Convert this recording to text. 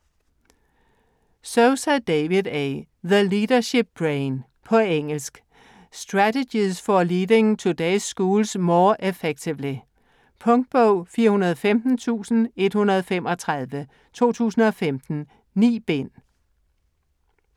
Sousa, David A.: The leadership brain På engelsk. Strategies for leading today's schools more effectively. Punktbog 415135 2015. 9 bind.